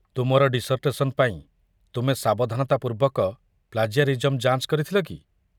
ତୁମର ଡିସର୍ଟେସନ୍ ପାଇଁ ତୁମେ ସାବଧାନତା ପୂର୍ବକ ପ୍ଳାଜିଆରିଜମ୍ ଯାଞ୍ଚ କରିଥିଲ କି?